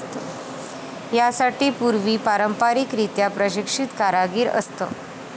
यासाठी पूर्वी पारंपारिकरित्या प्रशिक्षित कारागीर असत.